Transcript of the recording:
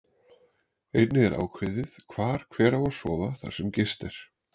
Einnig er ákveðið hvar hver á að sofa þar sem gist er.